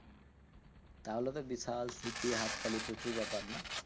তাহলে তো বিশাল সিটি হাততালি প্রচুর ব্যাপার না?